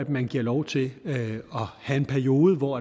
man giver lov til at have en periode hvor